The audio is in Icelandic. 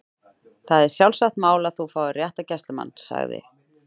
Það er sjálfsagt mál að þú fáir réttargæslumann- sagði